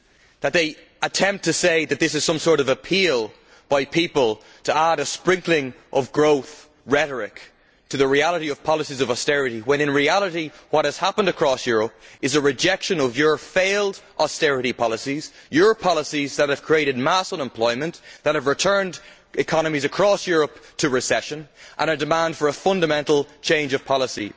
that they are attempting to say that this is some sort of appeal by people to add a sprinkling of growth rhetoric to the reality of policies of austerity, when in reality what has happened across Europe is a rejection of your failed austerity policies, your policies that have created mass unemployment, that have returned economies across Europe to recession, and a demand for a fundamental change of policy.